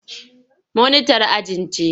Monitar ajin ce.